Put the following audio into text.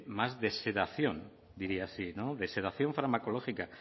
más de sedación diría así de sedación farmacológica